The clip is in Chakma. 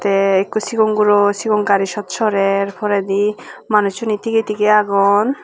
te ekko cigon guro sigon gaari sot sorer poredi manucchune tigey tigey agon.